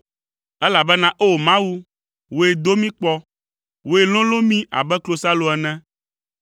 Elabena O Mawu, wòe do mí kpɔ, wòe lolõ mí abe klosalo ene.